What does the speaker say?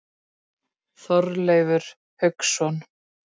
Þorleifur Hauksson.